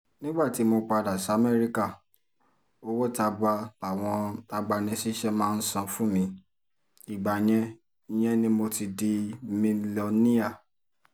nígbà tí mo padà samẹ́ríkà owó tabua làwọn agbanisíṣẹ́ mi san fún mi ìgbà yẹn yẹn ni mo ti di milọníà